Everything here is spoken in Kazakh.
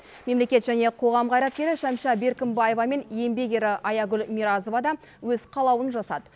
мемлекет және қоғам қайраткері шәмшә беркімбаева мен еңбек ері аягүл миразова да өз қалауын жасады